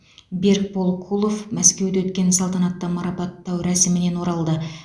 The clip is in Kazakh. берікбол кулов мәскеуде өткен салтанатты марапаттау рәсімінен оралды